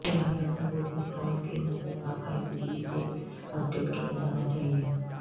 لہذا بودھی ستوا کی نذر باقاعدگی سے اپ ڈیٹ کیا جانا چاہئے